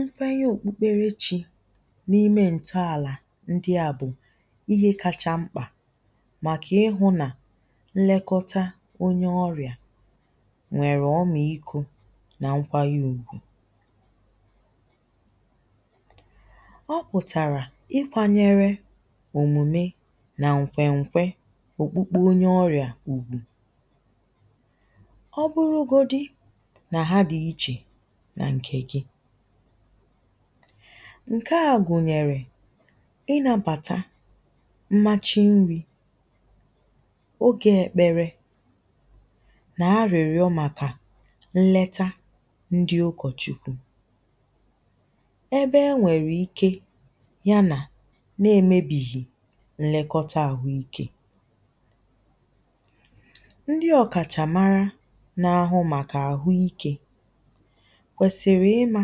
nkwee okpụkpere chi n’ime ǹtọàlà ndia bụ̀ ihe kacha mkpà màkà ihụ̇ nà nnekọta onye ọrìà nwèrè ọmàikȯ nà nkwa yȧ ùgwù o pụ̀tàrà ikwȧnyere òmùme nà ǹkwè ǹkwe òkpukpu onye ọrìà ùgwù nà ǹkè gị ǹke a gụ̀nyèrè ịnàbàta mmachi nri̇ ogė èkpere nà arị̀rịọ̇ màkà nleta ndi ụkọ̀chukwu ebe enwèrè ike yanà na-èmebìghì nlekọta àhụ ikė kwèsìrì ịmȧ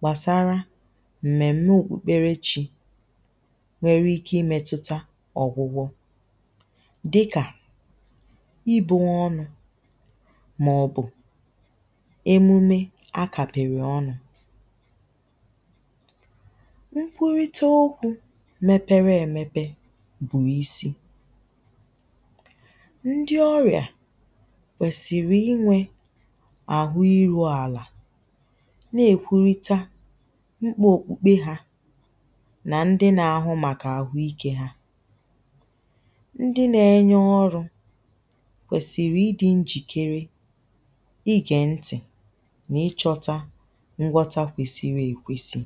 gbàsara m̀mèm̀me òkpukpere chi nwere ike imėtụta ọ̀gwụgwọ dikà ibunwe ọnụ̇ màọ̀bụ̀ emume a kàpị̀rị̀ ọnụ̇ nkwurịta okwu mepere èmepe bụ̀ isi ndi ọrịà kwèsìrì inwė na-èkwurịta mkpa òkpukpe hȧ nà ndị nȧ-ȧhụ̇ màkà àhụ ikė ha ndị nȧ-enye ọrụ̇ kwèsìrì ịdị̇ njìkere ịgè ntị̀ nà ịchọ̇tȧ ngwọta kwèsìrì èkwesị